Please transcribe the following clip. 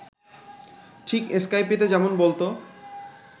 ঠিক স্কাইপেতে যেমন বলত